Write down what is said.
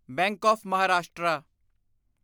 bank of Maharashtra